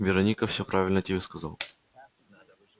вероника все правильно тебе сказала